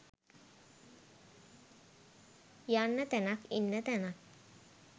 යන්න තැනක් ඉන්න තැනක්